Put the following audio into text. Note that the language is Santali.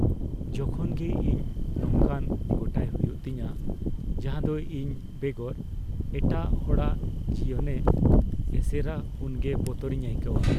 ᱡᱚᱠᱷᱚᱱ ᱜᱮ ᱤᱧ ᱱᱚᱝᱠᱟᱱ ᱜᱚᱴᱟᱭ ᱦᱩᱭᱩᱜ ᱛᱤᱧᱟ ᱡᱟᱦᱟᱸ ᱫᱚ ᱤᱧ ᱵᱮᱜᱚᱨ ᱮᱴᱟᱜ ᱦᱚᱲᱟᱜ ᱡᱤᱭᱚᱱᱮ ᱮᱥᱮᱨᱟ ᱩᱱᱜᱮ ᱵᱚᱛᱚᱨᱤᱧ ᱟᱹᱭᱠᱟᱹᱣᱟ ᱾